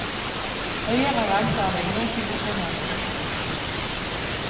Høyere rente er det ingen som bekymrer seg for.